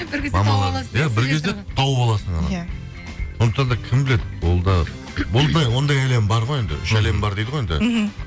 иә бір кезде тауып аласың иә сондықтан да кім біледі ол да ондай әлем бар ғой енді үш әлем бар дейді ғой енді мхм